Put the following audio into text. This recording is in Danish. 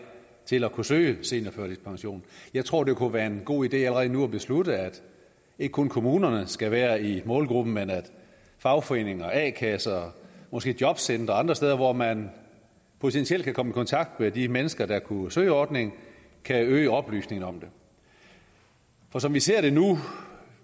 til at kunne søge seniorførtidspension jeg tror det kunne være en god idé allerede nu at beslutte at ikke kun kommunerne skal være i målgruppen men at fagforeninger og a kasser og måske jobcentre og andre steder hvor man potentielt kan komme i kontakt med de mennesker der kunne søge ordningen kan øge oplysningen om det for som vi ser det nu vil